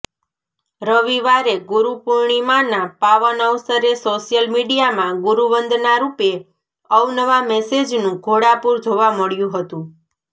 રવિવારે ગુરુપૂર્ણિમાના પાવન અવસરે સોશિયલ મીડિયામાં ગુરુવંદનારૂપે અવનવા મેસેજનું ઘોડાપૂર જોવા મળ્યંુ હતંુ